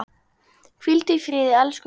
Hvíldu í friði elsku mamma.